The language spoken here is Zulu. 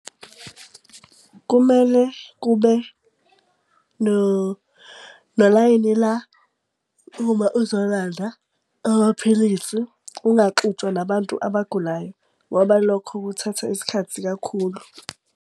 Kumele kube nolayini la uma uzolanda amaphilisi ungaxutshwa nabantu abagulayo, ngoba lokho kuthatha isikhathi kakhulu.